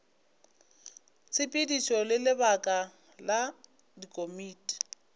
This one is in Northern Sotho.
tshepedišo le lebaka la dikomiti